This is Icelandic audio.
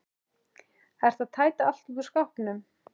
Ertu að tæta allt út úr skápnum?